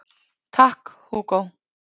Takk Hugo